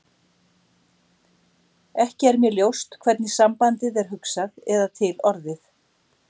Ekki er mér ljóst hvernig sambandið er hugsað eða til orðið.